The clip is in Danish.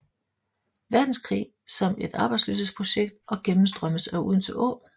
Verdenskrig som et arbejdsløshedsprojekt og gennemstrømmes af Odense Å